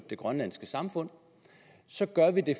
det grønlandske samfund så gør vi det